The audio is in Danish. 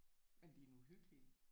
Men de er nu hyggelige